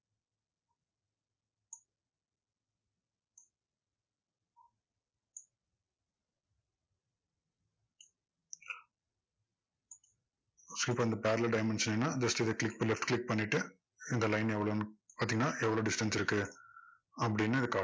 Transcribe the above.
so இப்போ இந்த parallel dimension வேணும்னா just இதை click left click பண்ணிட்டு இந்த line எவ்ளோன்னு பாத்தீங்கன்னா எவ்ளோ distance இருக்கு அப்படின்னு